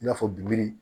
I n'a fɔ bigil